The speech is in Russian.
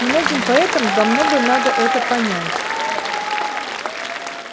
многим поэтам давно бы надо это понять